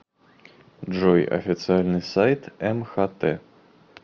джой официальный сайт мхт